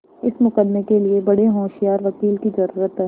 इस मुकदमें के लिए बड़े होशियार वकील की जरुरत है